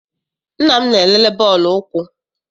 Nna m na-elele bọọlụ ụkwụ.